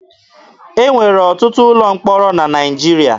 E nwere ọtụtụ ụlọ mkpọrọ na Naịjirịa.